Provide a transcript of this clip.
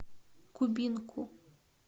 кубинку